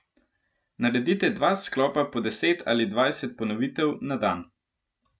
Naredite dva sklopa po deset ali dvajset ponovitev na dan.